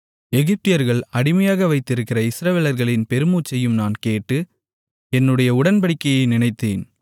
எகிப்தியர்கள் அடிமையாக வைத்திருக்கிற இஸ்ரவேலர்களின் பெருமூச்சையும் நான் கேட்டு என்னுடைய உடன்படிக்கையை நினைத்தேன்